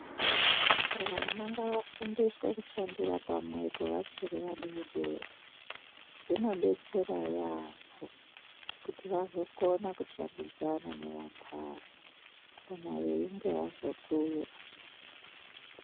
Vana ngavafundiswe kushandira pamwepo vachiri vadodori zvinodetsera yamho kuti vazokona kushandidzana nevantani kana veinge vazokura.